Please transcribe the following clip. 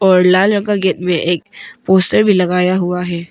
और लाल रंग का गेट में एक पोस्टर भी लगाया हुआ है।